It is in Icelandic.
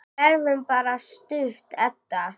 Við verðum bara stutt, Edda.